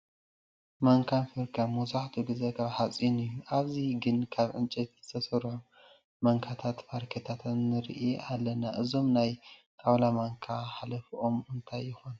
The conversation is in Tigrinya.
ማንካን ፋብሪካን መብዛሕትኡ ግዜ ካብ ሓፂን እዩ፡፡ ኣብዚ ግን ካብ ዕንጨይቲ ዝተሰርሑ ማንካታትን ፋርኬታትን ንርኢ ኣለና፡፡ እዞም ናይ ጣውላ ማንካ ሓለፍኦም እንታይ ይኾን?